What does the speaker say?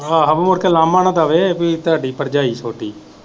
ਆਹੋ ਮੁੜ ਕਕੇ ਲਾਮਾਂ ਨਾ ਦਵੇ ਕਿ ਤੁਹਾਡੀ ਭਰਜਾਈ ਛੋਟੀ।